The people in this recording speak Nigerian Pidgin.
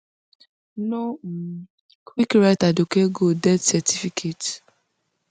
no um quick write aduke gold death certificate